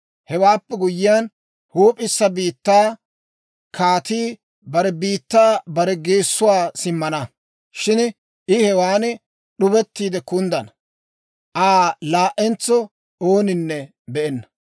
Hewaappe guyyiyaan, huup'issa biittaa kaatii bare biittaa bare geessuwaa simmana. Shin I hewan d'ubettiide kunddana; Aa laa"entso ooninne be'enna.